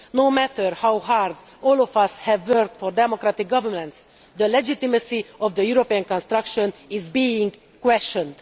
No matter how hard all of us have worked for democratic governance, the legitimacy of the European construction is being questioned.